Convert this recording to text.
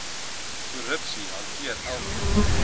korrupsie hanteer elkeen